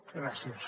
gràcies